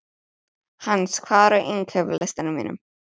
Hans, hvað er á innkaupalistanum mínum?